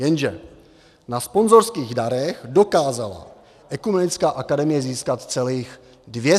Jenže - na sponzorských darech dokázala Ekumenická akademie získat celých 213 korun.